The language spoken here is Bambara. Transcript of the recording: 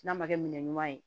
N'a ma kɛ minɛn ɲuman ye